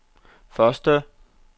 første